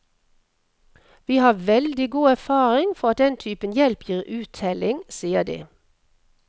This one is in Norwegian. Vi har veldig god erfaring for at den typen hjelp gir uttelling, sier de.